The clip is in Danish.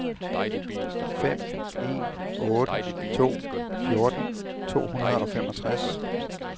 fem en otte to fjorten to hundrede og femogtres